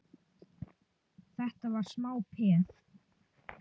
Þetta var smá peð!